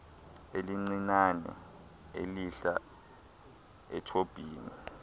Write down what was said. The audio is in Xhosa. elincinane elihla ethobhini